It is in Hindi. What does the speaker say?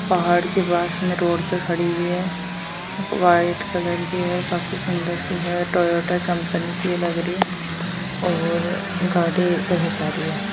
पहाड़ के पास में रोड पे खड़ी हुई है वाईट कलर की है काफी सुन्दर सी है टोयोटा कंपनी की लग रही है और गाड़ी कई जा रही है।